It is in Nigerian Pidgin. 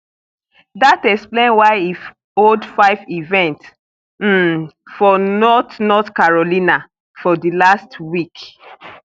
dat explain why e hold five events um for north north carolina for di last week